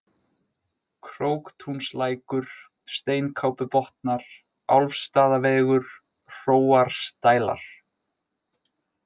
Króktúnslækur, Steinkápubotnar, Álfsstaðavegur, Hróarsdælar